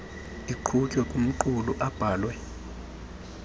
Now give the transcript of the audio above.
iqhutywe kumqulu abhalwe